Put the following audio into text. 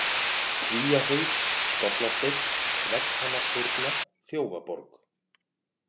Kvíahaus, Skollasteinn, Vegghamarshyrna, Þjófaborg